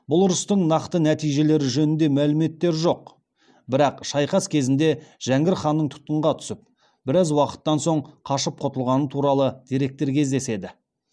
бұл ұрыстың нақты нәтижелері жөнінде мәліметтер жоқ бірақ шайқас кезінде жәңгір ханның тұтқынға түсіп біраз уақыттан соң қашып құтылғаны туралы деректер кездеседі